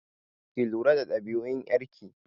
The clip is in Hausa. Ki lura da ɗabi'un ƴar ki!